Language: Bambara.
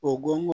O gon